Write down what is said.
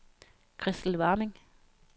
Christel Warming